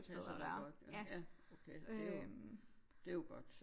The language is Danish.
Det passer dig godt ja okay det jo det jo godt så